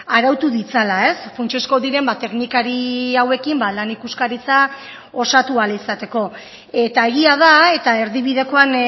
arautu ditzala funtsezko diren teknikari hauekin lan ikuskaritza osatu ahal izateko eta egia da eta erdibidekoan